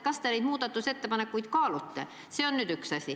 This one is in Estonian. Kas te neid muudatusettepanekuid kaalute?